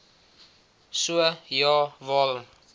so ja waarom